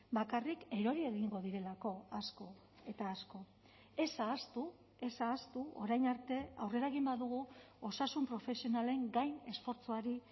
bakarrik erori egingo direlako asko eta asko ez ahaztu ez ahaztu orain arte aurrera egin badugu osasun profesionalen gain esfortzuari